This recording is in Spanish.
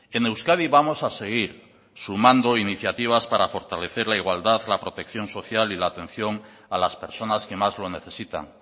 en euskadi vamos a seguir sumando iniciativas para fortalecer la igualdad la protección social y la atención a las personas que más lo necesitan